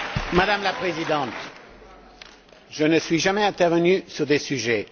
Madame la Présidente, je ne suis jamais intervenu sur de tels sujets.